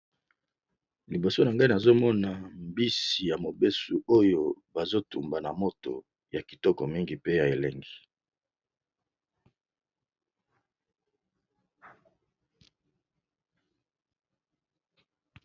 Liboso na ngai nazomona mbisi ya mayi oyo bazali kotumba, pe ezomonana ekozala kitoko pona kolia